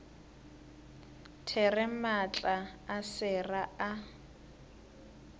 there maatla a sera a